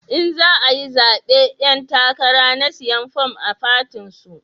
In za ayi zabe 'yan takara na siyan form a fatin su